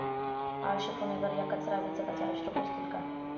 आळशी पुणेकर, या कचरा वेचकाचे अश्रू पुसतील का?